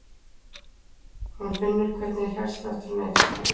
Hún finnur hvernig hjartslátturinn eykst.